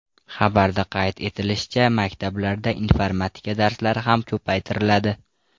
Xabarda qayd etilishicha, maktablarda informatika darslari ham ko‘paytiriladi.